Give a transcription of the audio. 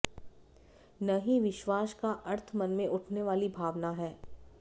न ही विश्वास का अर्थ मन मे उठने वाली भावना है